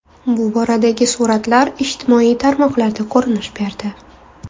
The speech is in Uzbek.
Bu boradagi suratlar ijtimoiy tarmoqlarda ko‘rinish berdi.